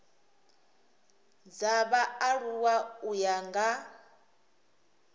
dza vhaaluwa u ya nga